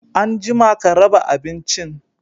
Anjima ka raɓa abincin!